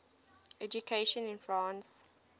education in france